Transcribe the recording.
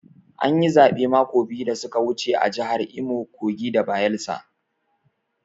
An yi zaɓe mako biyu da su ka wuce a jahar Imo, Kogi da Bayelsa.